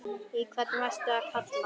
Í hvern varstu að kalla?